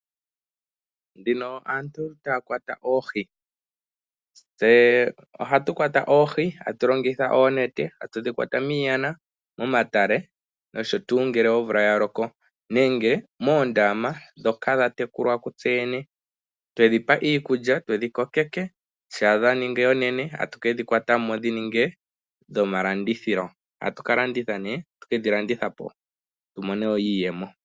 Dhino aantu taya kwata oohi. Tse ohatu kwata oohi, atu longitha oonete. Atu dhi kwata miishana, momatale nosho tuu, ngele omvula ya loko nenge moondama ndhoka dha tekulwa kutse yene, twedhipa iikulya, twedhi kokeke. Shampa dha ningi oonene tatu kedhi kwata Mo dhi ninge dhomalandithilo, atu kalanditha nee, tatu kedhi landitha po tu mone wo iiyemo.